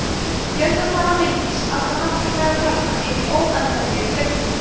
fjöldatala mengis allra náttúrulegra talna er því óendanleg fjöldatala